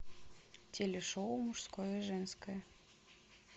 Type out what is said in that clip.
телешоу мужское и женское